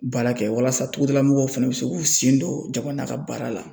Baara kɛ walasa togoda mɔgɔw fɛnɛ bɛ se k'u sen don jamana ka baara la